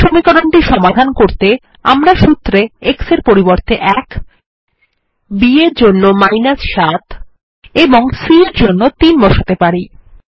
এই সমীকরণটি সমাধান করতে আমরা সুত্রে a এর পরিবর্তে ১ b এর জন্য ৭ এবং c এর জন্য ৩ বসাতে পারি